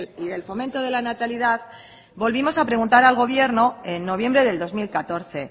y del fomento de la natalidad volvimos a preguntar al gobierno en noviembre del dos mil catorce